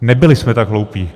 Nebyli jsme tak hloupí.